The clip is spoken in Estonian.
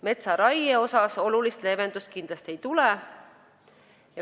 Metsaraie koha pealt olulist leevendust kindlasti ei tule.